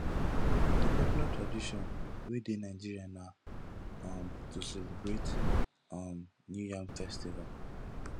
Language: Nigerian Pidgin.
di popular tradition wey de nigeria na um to celebrate um new yam festival